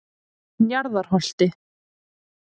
Njarðarholti